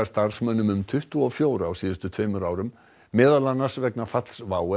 starfsmönnum um tuttugu og fjóra á síðustu tveimur árum meðal annars vegna falls WOW